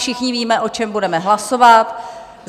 Všichni víme, o čem budeme hlasovat.